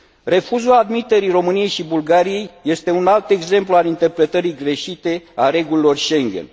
Refuzul admiterii României și Bulgariei este un alt exemplu al interpretării greșite a regulilor Schengen.